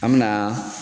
An me na